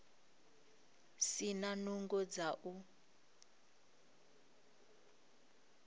si na nungo dza u